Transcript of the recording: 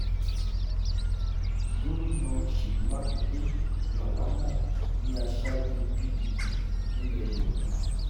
gomina ṣèyí makinde làwa mọ̀ ní aṣáájú pdp nílẹ̀ yorùbá